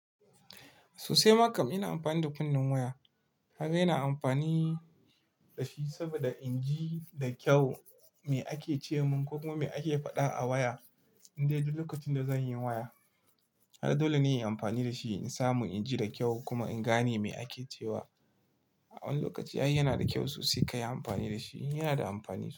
Sosai ma kam ina amfani da kunnin waya. Kaga ina amfani da shi saboda inji da kyau me ake ce min ko kuma me ake faɗa a waya in dai duk lokacin da zan yi waya. Ai dole ne in yi amfani da shi in samu inji da kyau kuma in gane me ake cewa. A wani lokaci ai yana da kyau sosai ka yi amfani da shi, yana da amfani sosai.